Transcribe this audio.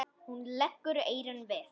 Hún leggur eyrun við.